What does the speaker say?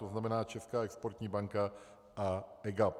To znamená Česká exportní banka a EGAP.